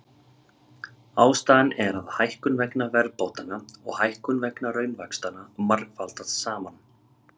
Ástæðan er að hækkun vegna verðbótanna og hækkun vegna raunvaxtanna margfaldast saman.